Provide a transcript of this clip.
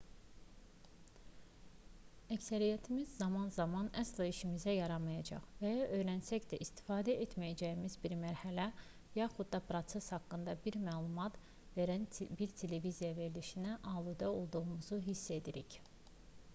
əksəriyyətimiz zaman-zaman əsla işimizə yaramayacaq və ya öyrənsək də istifadə etməyəcəyimiz bir mərhələ yaxud da proses haqqında bizə məlumat verən bir televiziya verilişinə aludə olduğumuzu hiss edirik